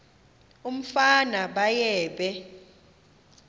umfana baye bee